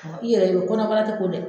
I yɛrɛ do kɔnɔbara tɛ ko dɛ.